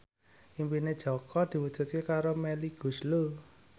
impine Jaka diwujudke karo Melly Goeslaw